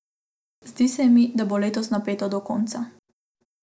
Zdi se mi, da bo letos napeto do konca!